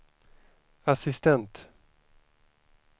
assistent